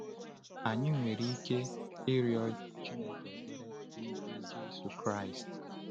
Anyị nwere ike ịrịọ Chineke ekpere n’ike Jésù Kraịst.